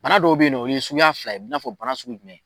Bana dɔw be yen nɔ o ye suguya fila ye i n'a fɔ bana sugu jumɛn